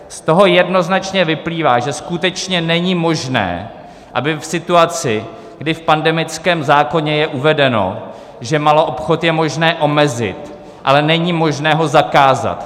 Z toho jednoznačně vyplývá, že skutečně není možné, aby v situaci, kdy v pandemickém zákoně je uvedeno, že maloobchod je možné omezit, ale není možné ho zakázat.